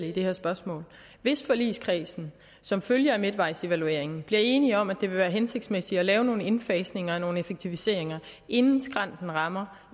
i det her spørgsmål hvis forligskredsen som følge af midtvejsevalueringen bliver enige om at det vil være hensigtsmæssigt at lave nogle indfasninger og nogle effektiviseringer inden skrænten rammes